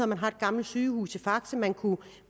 man har et gammelt sygehus i fakse man kunne